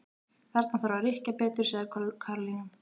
Þarna þarf að rykkja betur sagði Karólína.